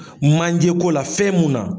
Manje ko la fɛn munna